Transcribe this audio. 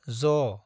ज